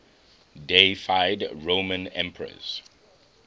deified roman emperors